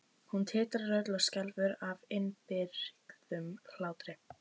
Hún titrar öll og skelfur af innibyrgðum hlátri.